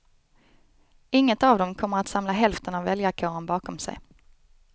Inget av dem kommer att samla hälften av väljarkåren bakom sig.